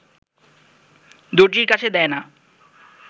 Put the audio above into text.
দরজির কাছে দেয় না